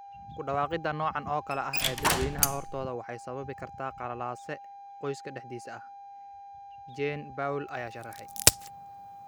Ku dhawaaqida noocan oo kale ah ee dadweynaha hortooda waxay sababi kartaa qalalaase qoyska dhexdiisa ah" Jean Paul ayaa sharaxay.